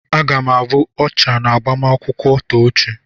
Aga m abụ ọchà n'agbamakwụkwọ Tochi.